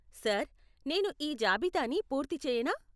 Sir, నేను ఈ జాబితాని పూర్తి చేయనా?